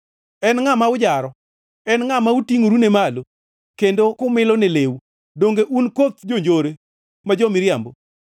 En ngʼa ma ujaro? En ngʼa mutingʼorene malo kendo kumilone leu? Donge un koth jonjore ma jo-miriambo?